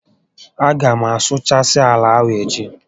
A gá m asụchasị ala ahụ echi